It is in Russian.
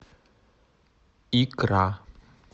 икра